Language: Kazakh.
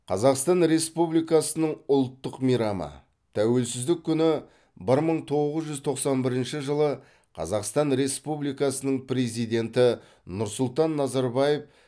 қазақстан республикасының ұлттық мейрамы тәуелсіздік күні бір мың тоғыз жүз тоқсан бірінші жылы қазақстан республикасының президенті нұрсұлтан назарбаев